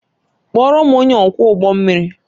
Kpọọrọ m onye ọkwọ ụgbọ mmiri!